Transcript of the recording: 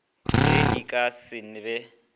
ge di ka se be